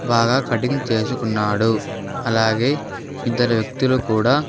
బాగా కటింగ్ చేసుకున్నాడు అలాగే ఇద్దరు వ్యక్తులు కూడా--